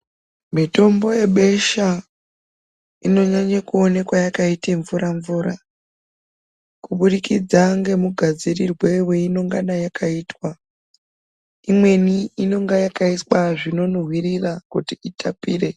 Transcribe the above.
Mitombo yebesha inonyanye kuonekwe yakaita mvura mvura kubudikidza ngemugadzirirwe weinongana yakaitwa imweni inonga yakaiswa zvinonhuwirira kuti itapire.